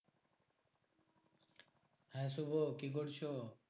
হ্যাঁ শুভ কি করছো?